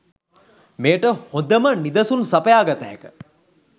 මෙයට හොදම නිදසුන් සපයා ගත හැක.